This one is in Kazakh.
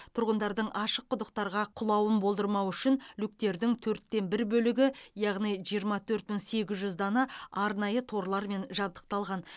тұрғындардың ашық құдықтарға құлауын болдырмау үшін люктердің төрттен бір бөлігі яғни жиырма төрт мың сегіз жүз дана арнайы торлармен жабдықталған